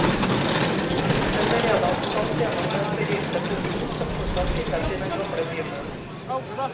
Selv red han stolt gjennom den forgylte porten, som fortsatt finnes i den gamle bymuren.